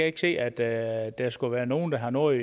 ikke se at der at der skulle være nogen der har noget